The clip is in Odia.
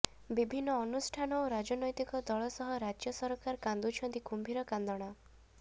ବିଭିନ୍ନ ଅନୁଷ୍ଠାନ ଓ ରାଜନୈତିକ ଦଳ ସହ ରାଜ୍ୟ ସରକାର କାନ୍ଦୁଛନ୍ତି କୁମ୍ଭିର କାନ୍ଦଣା